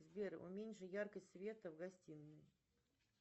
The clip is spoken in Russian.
сбер уменьши яркость света в гостиной